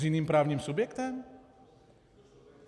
S jiným právním subjektem?